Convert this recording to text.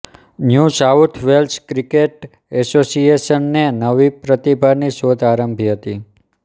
new South Wales cricket એસોસિએશનને નવી પ્રતિભાની શોધ આરંભી હતી